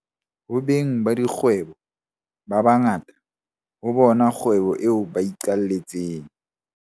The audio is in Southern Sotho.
Ho beng ba dikgwebo ba ba ngata, ho bona kgwebo eo ba iqaletseng.